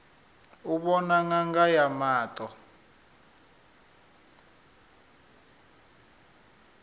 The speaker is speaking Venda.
u vhona ṅanga ya maṱo